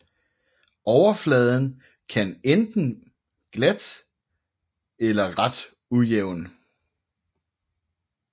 Overfladen kan være enten glat eller ret ujævn